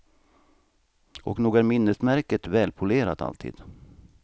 Och nog är minnesmärket välpolerat alltid.